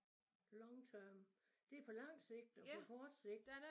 Long term det på lang sigt og på kort sigt